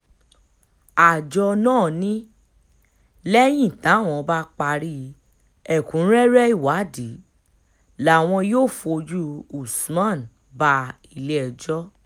àjọ náà ni lẹ́yìn táwọn bá parí ẹ̀kúnrẹ́rẹ́ ìwádìí làwọn yóò fojú usman bá ilé-ẹjọ́